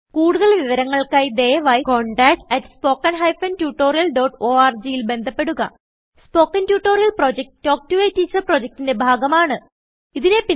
കുടുതൽ വിവരങ്ങൾക്കായി ദയവായിcontact at spoken hyphen tutorial dot orgൽ ബന്ധപ്പെടുക spoken tutorial project talk to a teacher പ്രൊജക്റ്റ്ന്റെ ഭാഗമാണ്